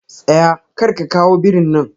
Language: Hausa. Tsaya! karka kawo birin nan.